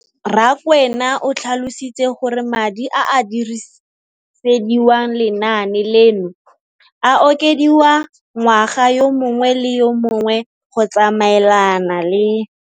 Rakwena o tlhalositse gore madi a a dirisediwang lenaane leno a okediwa ngwaga yo mongwe le yo mongwe go tsamaelana le.